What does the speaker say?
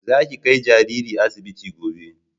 Za ki kai jariri asibiti gobe!